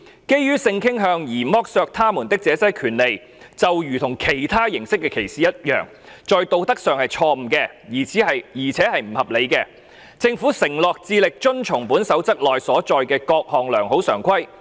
基於性傾向而剝奪他們這些權利，就如其他形式的歧視一樣，在道德上是錯誤的，而且是不合理的......政府承諾致力遵從本守則內所載的各項良好常規。